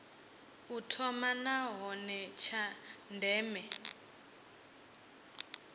u thoma nahone tsha ndeme